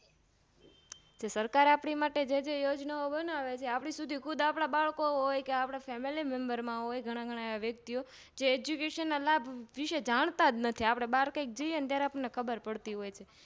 સરકાર આપની માટે જેજે યોજના ઓં બનાવે છે આપણીસુધી ખુદ આપણા બાળકો હોયકે Familymember માં હોય ઘણા ઘણા વ્યક્તિઓં જે Education ના લાભ વિશે જાણતાજ નથી આપણે બાર ક્યાક જઈ એ ત્યારે આપણે ખબરજ પડતી હોય છે